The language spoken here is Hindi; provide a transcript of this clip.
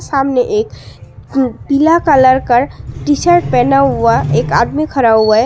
सामने एक पीला कलर का टी शर्ट पहना हुआ एक आदमी खड़ा हुआ है।